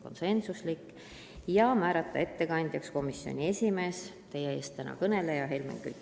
Ettekandjaks otsustati määrata komisjoni esimees, teie ees kõneleja Helmen Kütt.